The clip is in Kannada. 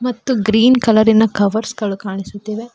ಮತ್ತು ಗ್ರೀನ್ ಕಲರಿನ ಕವರ್ಸ್ ಗಳು ಕಾಣಿಸುತ್ತಿವೆ.